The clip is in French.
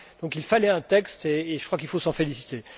Il fallait donc un texte, et je crois qu'il faut s'en féliciter.